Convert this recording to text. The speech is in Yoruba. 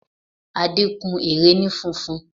Adé kun ère ni funfun